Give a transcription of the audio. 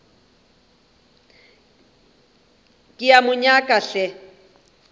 ke a mo nyaka hle